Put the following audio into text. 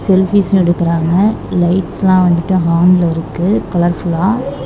Selfies எடுக்குறாங்க லைட்ஸ்லா வந்துட்டு ஆன்ல இருக்கு கலர்ஃபுல்லா .